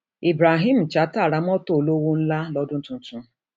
ibrahim chatta ra mọtò olówó ńlá lọdún tuntun